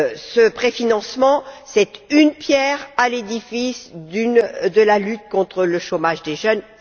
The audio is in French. Ce préfinancement est une pierre à l'édifice de la lutte contre le chômage des jeunes.